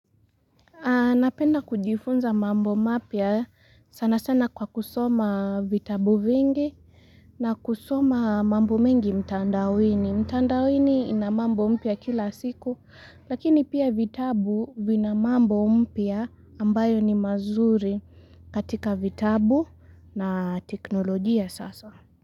Napenda kujifunza mambo mapya sana sana kwa kusoma vitabu vingi na kusoma mambo mengi mtandawini mtandawini ina mambo mpya kila siku Lakini pia vitabu vina mambo mpya ambayo ni mazuri katika vitabu na teknologia sasa.